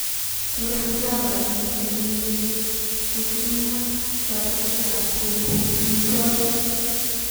Tos, Java nemiten lelekit kotintyo toretetab koibi amitwogik